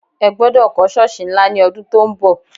Ẹ gbọdọ̀ kọ́ Ṣọ́ọ̀sì ńlá ní ọdún tó ń bọ̀!